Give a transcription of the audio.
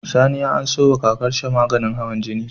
Sani ya anso wa kakar shi maganin hawan jini